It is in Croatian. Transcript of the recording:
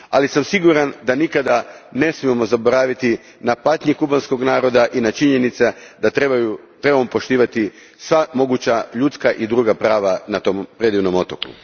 Ali siguran sam da nikada ne smijemo zaboraviti patnju kubanskog naroda i činjenicu da trebamo poštivati sva moguća ljudska i druga prava na tom predivnom otoku.